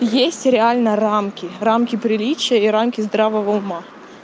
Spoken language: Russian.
есть реально рамки рамки приличия и рамки здравого ума